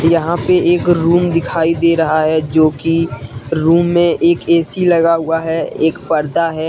यहां पे एक रूम दिखाई दे रहा है जो कि रूम में एक ए_सी लगा हुआ है एक पर्दा है।